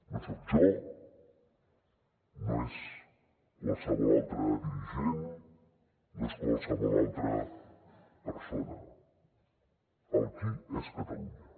no soc jo no és qualsevol altre dirigent no és qualsevol altra persona el qui és catalunya